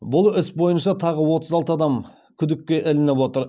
бұл іс бойынша тағы отыз алты адам күдікке ілініп отыр